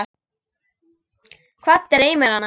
Hvað dreymir hana?